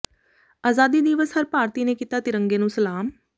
ਆਜ਼ਾਦੀ ਦਿਵਸ ਹਰ ਭਾਰਤੀ ਨੇ ਕੀਤਾ ਤਿਰੰਗੇ ਨੂੰ ਸਲਾਮ